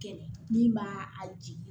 Kɛlɛ min b'a a jigin